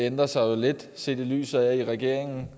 ændrer sig lidt set i lyset af at regeringen